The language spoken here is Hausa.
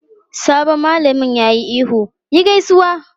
Sabon malamin ya yi ihu "yi gaisuwa!"